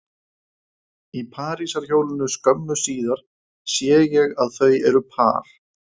Í parísarhjólinu skömmu síðar sé ég að þau eru par